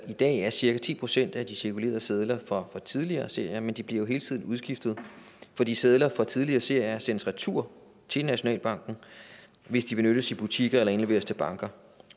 i dag er cirka ti procent af de cirkulerende sedler fra tidligere serier men de bliver jo hele tiden udskiftet fordi sedler fra tidligere serier sendes retur til nationalbanken hvis de benyttes i butikker eller indleveres til banker